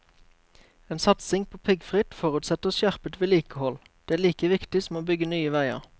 En satsing på piggfritt forutsetter skjerpet vedlikehold, det er like viktig som å bygge nye veier.